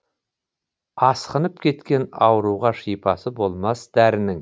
асқынып кеткен ауруға шипасы болмас дәрінің